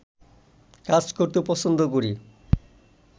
কাজ করতে পছন্দ করি